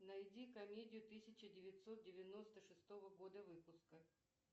найди комедию тысяча девятьсот девяносто шестого года выпуска